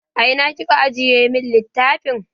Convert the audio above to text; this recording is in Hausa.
A ina kika ajiye mun littafin?